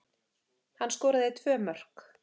Hann skoraði tvö mörk